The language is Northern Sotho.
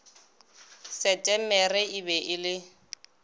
setemere e be e le